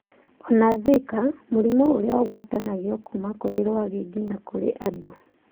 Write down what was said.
Ona Zika, mũrimũ ũrĩa ũgwatanagio kuma kũrĩ rwagĩ nginya kũrĩ andũ.